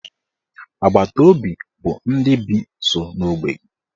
Agbataobi bụ ndị bi nso n'ogbe gị.